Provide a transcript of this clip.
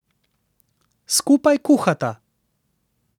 Skupaj kuhata.